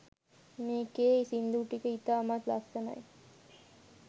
මේකේ සින්දු ටික ඉතාමත් ලස්සනයි